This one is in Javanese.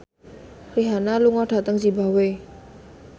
Rihanna lunga dhateng zimbabwe